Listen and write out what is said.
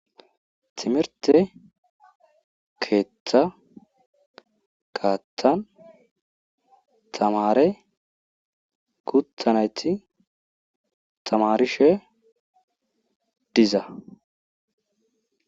Timirte keeththa kaattan tamare guthanayti tamarishe diza.